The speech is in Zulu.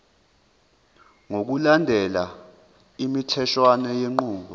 ngokulandela imitheshwana yenqubo